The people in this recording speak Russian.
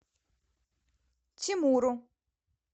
тимуру